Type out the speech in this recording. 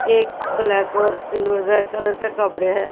यह ब्लैक और red colour का कपड़े है।